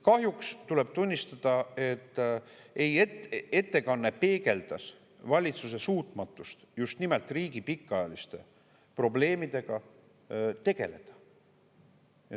Kahjuks tuleb tunnistada, et ettekanne peegeldas valitsuse suutmatust just nimelt riigi pikaajaliste probleemidega tegeleda.